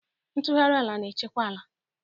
Ntugharị ala na-echekwa ala.